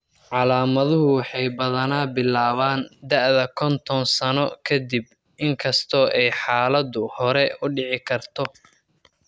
Calaamaduhu waxay badanaa bilaabaan da'da kontoon sano ka dib, inkastoo ay xaaladdu hore u dhici karto.